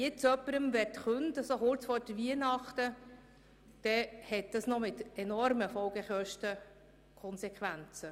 Wenn man jetzt jemandem kurz vor Weihnachten kündigen wollte, hätte dies enorme Kosten zur Folge.